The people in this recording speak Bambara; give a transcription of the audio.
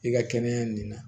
I ka kɛnɛya nin na